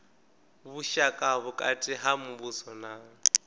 vhushaka vhukati ha muvhuso na